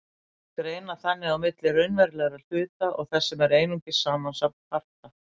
Þeir greina þannig á milli raunverulegra hluta og þess sem er einungis samansafn parta.